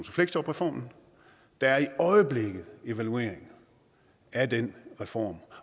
fleksjobreformen der er i øjeblikket en evaluering af den reform